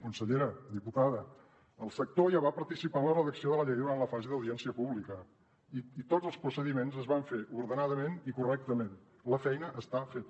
consellera diputada el sector ja va participar en la redacció de la llei durant la fase d’audiència pública i tots els procediments es van fer ordenadament i correctament la feina està feta